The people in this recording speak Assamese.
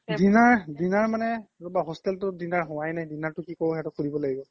dinner dinner মানে hostel টোত dinner হোৱাই নাই dinner টোত কি কৰোঁ সিহঁতক সুধিব লাগিব